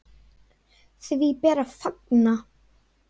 Því ber að fagna.